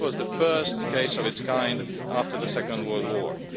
This was the first case of its kind after the Second World War.